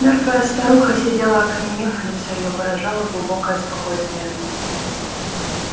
мёртвая старуха сидела окаменев лицо её выражало глубокое спокойствие